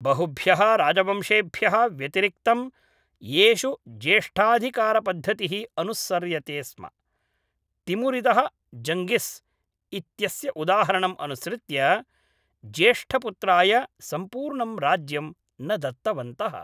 बहुभ्यः राजवंशेभ्यः व्यतिरिक्तं, येषु ज्येष्ठाधिकारपद्धतिः अनुसर्यते स्म, तिमुरिदः जङ्गिस् इत्यस्य उदाहरणं अनुसृत्य, ज्येष्ठपुत्राय सम्पूर्णं राज्यं न दत्तवन्तः।